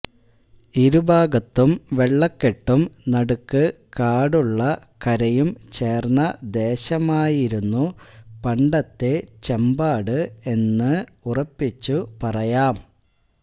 ഇരുഭാഗത്തും വെള്ളക്കെട്ടും നടുക്ക് കാടുള്ള കരയും ചേർന്ന ദേശമായിരുന്നു പണ്ടത്തെ ചമ്പാട് എന്ന് ഉറപ്പിച്ചു പറയാം